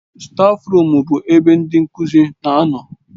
Stáfruum bụ ebe ndị nkuzi na-anọ.